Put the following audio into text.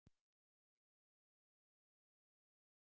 Gunnjóna